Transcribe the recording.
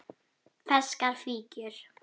Ferskar fíkjur